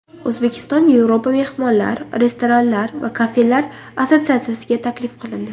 O‘zbekiston Yevropa mehmonxonalar, restoranlar va kafelar assotsiatsiyasiga taklif qilindi.